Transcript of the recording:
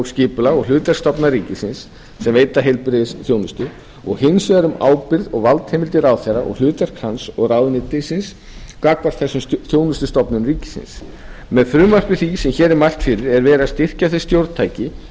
skipulag og hlutverk stofnana ríkisins sem veita heilbrigðisþjónustu og hins vegar um ábyrgð og valdheimildir ráðherra og hlutverk hans og ráðuneytisins gagnvart þessum þjónustustofnunum ríkisins með frumvarpi því sem hér er mælt fyrir er verið að styrkja þau stjórntæki